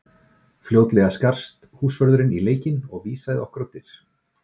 Fljótlega skarst húsvörðurinn í leikinn og vísaði okkur á dyr.